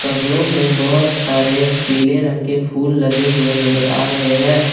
गमलों में बहोत सारे पीले रंग के फूल लगे हुए नजर आ रहे हैं।